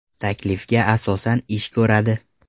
taklifga asosan ish ko‘radi.